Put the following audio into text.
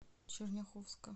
черняховска